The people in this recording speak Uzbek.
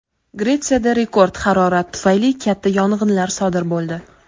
Gretsiyada rekord harorat tufayli katta yong‘inlar sodir bo‘ldi.